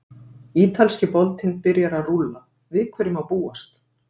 Ítalski boltinn byrjar að rúlla- Við hverju má búast?